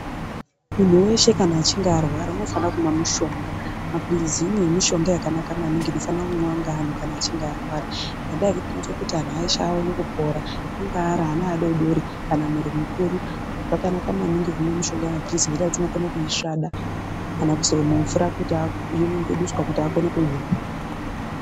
Muntu weshe kana achinge arwara unofana kumwe mushonga mapilizi mumwe yemushonga yakanaka inofanira kumwiwa ngemunhu kana achinge arwara ngendaa yekuti inoite kuti antu eshe aone kupora angaa ana adodori kana munhu mukuru zvakanaka maningi kumwe mushonga yemapirizi ngendaa yekuti tinokone kuisvada kana kuiswe mumvura kuti aa yonyunguduswa kuti akone kumwa.